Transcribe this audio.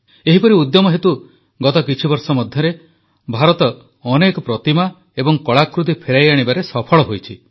ଏହିପରି ଉଦ୍ୟମ ହେତୁ ଗତ କିଛିବର୍ଷ ମଧ୍ୟରେ ଭାରତ ଅନେକ ପ୍ରତିମା ଏବଂ କଳାକୃତି ଫେରାଇ ଆଣିବାରେ ସଫଳ ହୋଇଛି